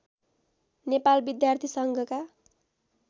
नेपाल विद्यार्थी सङ्घका